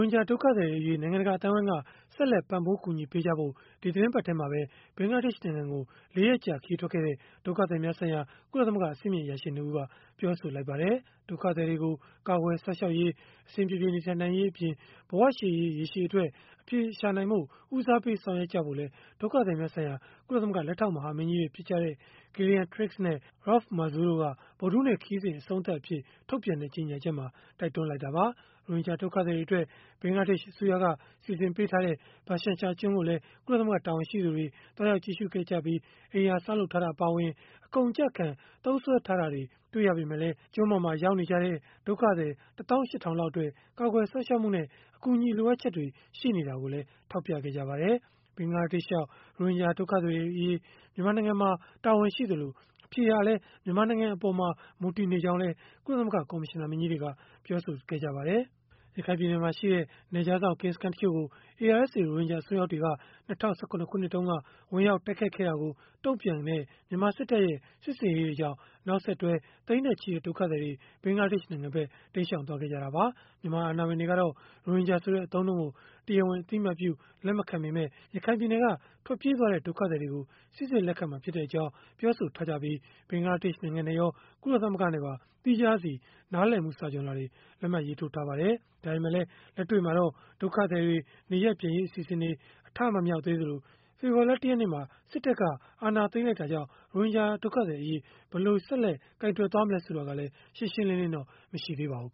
င်ဂျာ ဒုက္ခသည်တွေအရေး နိုင်ငံတကာ အသိုင်းအဝန်းက ဆက်လက် ပံ့ပိုးကူညီပေးကြဖို့ ဒီသီတင်းပတ်ထဲမှာပဲ ဘင်္ဂလားဒေ့ရှ်နိုင်ငံကို ၄ ရက်ကြာ ခရီးထွက်ခဲ့တဲ့ ဒုက္ခသည်များဆိုင်ရာ ကုလသမဂ္ဂ အဆင့်မြင့်အရာရှိ ၂ ဦးက ပြောဆိုလိုက်ပါတယ်။ ဒုက္ခသည်တွေကို ကာကွယ်စောင့်ရှောက်ရေး၊ အဆင်ပြေပြေ နေထိုင်နိုင်ရေးအပြင်၊ ဘဝရှေ့ရေး ရေရှည်အတွက် အဖြေရှာနိုင်ဖို့ ဦးစားပေး ဆောင်ရွက်ကြဖို့လည်း ဒုက္ခသည်များဆိုင်ရာ ကုလသမဂ္ဂ လက်ထောက်မဟာမင်းကြီးတွေ ဖြစ်ကြတဲ့ Gillian Triggs နဲ့ Raouf Mazou တို့က ဗုဒ္ဓဟူးနေ့ ခရီးစဉ် အဆုံးသတ် ထုတ်ပြန်တဲ့ ကြေညာချက်မှာ တိုက်တွန်းထားတာပါ။ ရိုဟင်ဂျာ ဒုက္ခသည်တွေအတွက် ဘင်္ဂလားဒေ့ရှ် အစိုးရက စီစဉ်ထားတဲ့ ဘာရှန်ချာကျွန်းကိုလည်း ကုလသမဂ္ဂ တာဝန်ရှိသူတွေ သွားရောက်ကြည့်ရှုခဲ့ရာမှာတော့ အိမ်ယာဆောက်လုပ်ထားတာ အပါအဝင် အကုန်အကျခံ သုံးစွဲထားတာတွေ တွေ့ရပေမဲ့လည်း ဘာရှန်ချာ ကျွန်းမှာ ရောက်နေကြတဲ့ ဒုက္ခသည် ၁၈,၀၀၀ လောက်အတွက် ကာကွယ်စောင့်ရှောက်မှုနဲ့ အကူအညီ လိုအပ်ချက်တွေ ရှိနေတာကိုလည်း ထောက်ပြခဲ့ပါတယ်။ ဘင်္ဂလားဒေ့ရှ်ရောက် ရိုဟင်ဂျာ ဒုက္ခသည်တွေအရေးအတွက် မြန်မာနိုင်ငံမှာ တာဝန်ရှိသလို၊ အဖြေဟာလည်း မြန်မာနိုင်ငံအပေါ် မူတည်နေကြောင်းလည်း ကုလသမဂ္ဂ ကော်မရှင်နာမင်းကြီးတွေက ပြောဆိုထားပါတယ်။ ရခိုင်ပြည်နယ်မှာရှိတဲ့ နယ်ခြားစောင့် ကင်းစခန်းတချို့ကို ARSA ရိုဟင်ဂျာ အစွန်းရောက်တွေက ၂၀၁၇ ခုနှစ်တုန်းက ဝင်ရောက်တိုက်ခိုက်ခဲ့တာကို တုံ့ပြန်တဲ့ မြန်မာစစ်တပ်ရဲ့ စစ်ဆင်ရေးတွေကြောင့် နောက်ဆက်တွဲ သိန်းနဲ့ချီတဲ့ ဒုက္ခသည်တွေ ဘင်္ဂလားဒေ့ရှ်နိုင်ငံဖက် တိမ်းရှောင်သွားခဲ့ကြတာပါ။ မြန်မာအာဏာပိုင်တွေကတော့ ရိုဟင်ဂျာဆိုတဲ့ အသုံးအနှုန်းကို တရားဝင် အသိအမှတ်ပြု လက်မခံပေမဲ့ ရခိုင်ပြည်နယ်က ထွက်ပြေးသွားတဲ့ ဒုက္ခသည်တွေကို စိစစ်လက်ခံမှာ ဖြစ်ကြောင်း ပြောဆိုထားပြီး၊ ဘင်္ဂလားဒေ့ရှ် နိုင်ငံနဲ့ရော ကုလသမဂ္ဂနဲ့ပါ သီးခြားစီ နားလည်မှု စာချွန်လွှာတွေ လက်မှတ်ရေးထိုးထားပါတယ်။ ဒါပေမဲ့လည်း လက်တွေ့မှာတော့ ဒုက္ခသည်တွေ နေရပ်ပြန်ရေး အစီအစဉ်တွေ အထမမြောက်သေးသလို၊ ဖေဖော်ဝါရီလ ၁ ရက်နေ့ စစ်တပ်က အာဏာသိမ်းလိုက်တာကြောင့် ရိုဟင်ဂျာ ဒုက္ခသည်အရေး ဘယ်လို ဆက်လက် ကိုင်တွယ်မလဲ ဆိုတာကလည်း ရှင်းရှင်းလင်းလင်းတော့ မရှိသေးပါဘူး